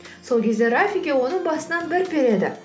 сол кезде рафики оның басынан бір переді